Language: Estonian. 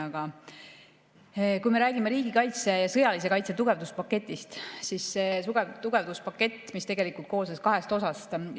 Aga kui me räägime riigikaitse ja sõjalise kaitse tugevduspaketist, siis see tugevduspakett koosnes kahest osast.